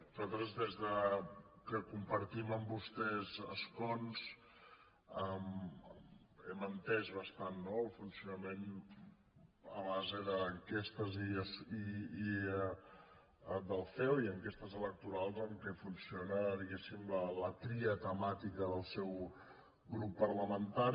nosaltres des que compartim amb vostès escons hem entès bastant no el funcionament a base d’enquestes del ceo i enquestes electorals en què funciona diguéssim la tria temàtica del seu grup parlamentari